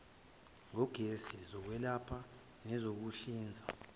ngogesi zokwelapha nezokuhlinza